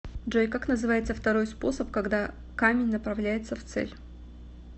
джой как называется второй способ когда камень направляется в цель